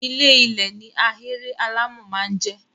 Ilé -ilẹ̀ ni ahéré alámọ̀ máa ń jẹ́.